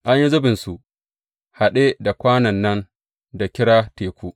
An yi zubinsu haɗe da kwanon nan da kira Teku.